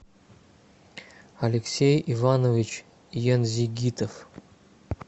алексей иванович янзигитов